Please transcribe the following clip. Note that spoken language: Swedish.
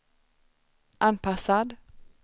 anpassad